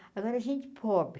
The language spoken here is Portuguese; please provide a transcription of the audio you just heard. Agora a gente pobre.